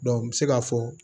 n bɛ se k'a fɔ